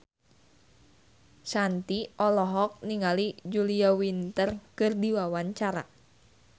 Shanti olohok ningali Julia Winter keur diwawancara